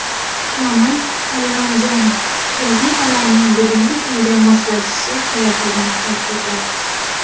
Komil Allamjonov gazetalarning bugungi kunga moslashishi kerakligini ta’kidladi.